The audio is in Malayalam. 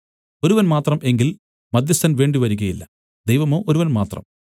ഒരുവൻ മാത്രം എങ്കിൽ മദ്ധ്യസ്ഥൻ വേണ്ടിവരികയില്ല ദൈവമോ ഒരുവൻ മാത്രം